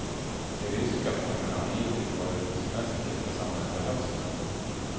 De ryska fonderna har hittills varit mest lyckosamma under hösten.